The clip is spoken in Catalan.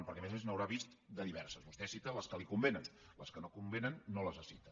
perquè a més a més en deu haver vist de diverses vostè cita les que li convenen les que no convenen no les cita